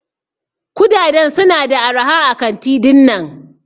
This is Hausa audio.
Kudaden su na da araha a kanti dinnan.